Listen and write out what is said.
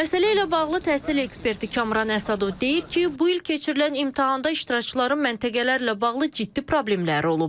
Məsələ ilə bağlı təhsil eksperti Kamran Əsədov deyir ki, bu il keçirilən imtahanda iştirakçıların məntəqələrlə bağlı ciddi problemləri olub.